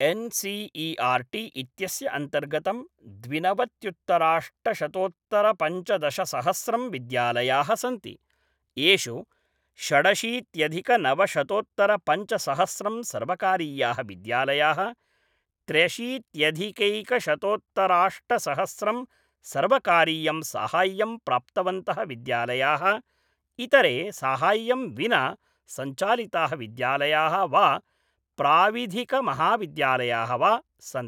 S C E R T इत्यस्य अन्तर्गतं द्विनवत्युत्तराष्टशतोत्तरपञ्चदशसहस्रं विद्यालयाः सन्ति, येषु षडशीत्यधिकनवशतोत्तरपञ्चसहस्रं सर्वकारीयाः विद्यालयाः, त्र्यशीत्यधिकैकशतोत्तराष्टसहस्रं सर्वकारीय़ं साहाय्यं प्राप्तवन्तः विद्यालयाः, इतरे साहाय्यं विना सञ्चालिताः विद्यालयाः वा प्राविधिकमहाविद्यालयाः वा सन्ति।